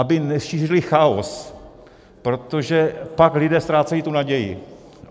Aby nešířili chaos, protože pak lidé ztrácejí tu naději.